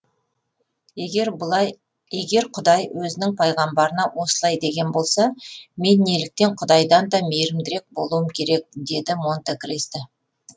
егер егер құдай өзінің пайғамбарына осылай деген болса мен неліктен құдайдан да мейірімдірек болуым керек деді монте кристо